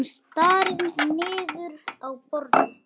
Hann starir niður í borðið.